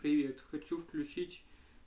привет хочу включить